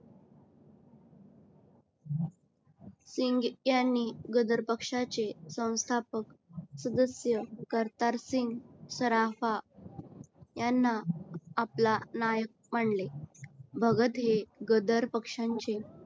सिंग यांनी गदर पक्ष्याचे संस्थापक सदस्य करतातर सिंग, सराफा याना आपला नायक मानले भागात हे गदर पक्ष्यांचे